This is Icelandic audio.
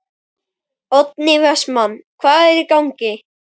Oddný Vestmann: Hvað er í gangi?